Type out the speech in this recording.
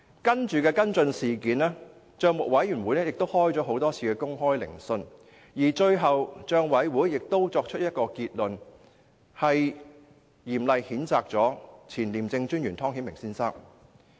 在接下來的跟進工作中，帳委會召開多次公開聆訊，最後作出結論，嚴厲譴責前廉政專員湯顯明先生。